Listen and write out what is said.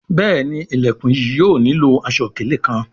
Béèni Ilẹkùn yìí yóò nilo aṣọ-ikele kán.